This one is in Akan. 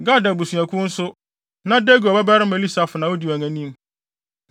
Gad abusuakuw nso, na Deguel babarima Eliasaf na odi wɔn anim.